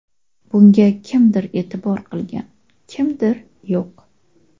Bunga kimdir e’tibor qilgan, kimdir yo‘q.